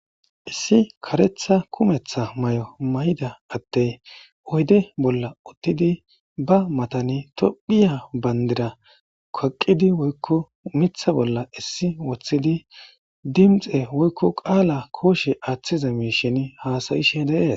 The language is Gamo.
Issi karetha kumetha may7o may7ida atte oyde bolla uttidi ba matani tophiya banddira kaqidi woykko miiththa bolla issi woththidi dimxe woykko qaala kooshe aaththiza miishin haasayishe dees.